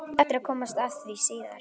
Þú átt eftir að komast að því síðar.